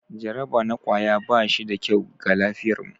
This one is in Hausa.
Jaraba na kwaya ba shi da kyau ga lafiyarmu.